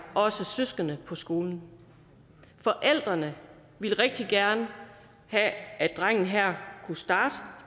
også søskende på skolen forældrene ville rigtig gerne have at drengen her kunne starte